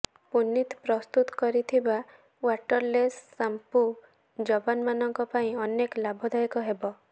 ପୁନିତ ପ୍ରସ୍ତୁତ କରିଥିବା waterless shampoo ଯବାନମାନଙ୍କ ପାଇଁ ଅନେକ ଲାଭଦାୟକ ହେବ